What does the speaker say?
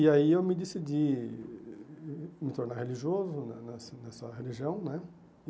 E aí eu me decidi me tornar religioso na nessa nessa religião né.